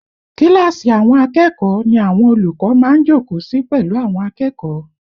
Kíláàsì àwọn akẹ́kọ̀ọ́ ni àwọn olùkọ́ má ń jókòó sí pẹ̀lú àwọn akẹ́kọ̀ọ́